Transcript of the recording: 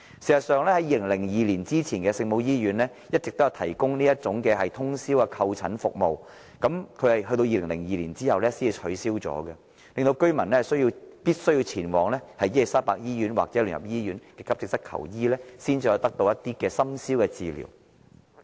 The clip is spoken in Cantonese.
事實上 ，2002 年前的聖母醫院一直都有提供通宵門診服務，服務至2002年取消，令居民必須前往伊利沙伯醫院或基督教聯合醫院的急症室求醫，才能在深宵期間得到治療。